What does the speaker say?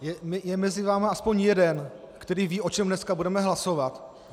Je mezi vámi aspoň jeden, který ví, o čem dneska budeme hlasovat?